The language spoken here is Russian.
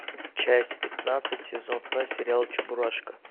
часть пятнадцать сезон два сериал чебурашка